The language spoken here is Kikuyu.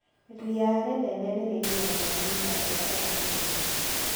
Ria rĩnene nĩrĩgiragia mĩmera gũkũra ihenya.